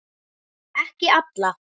Ekki alla.